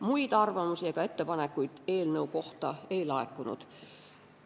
Muid arvamusi ega ettepanekuid eelnõu kohta ei laekunud.